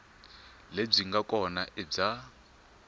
lebyi nga kona i bya